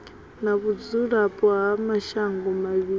na vhudzulapo ha mashango mavhili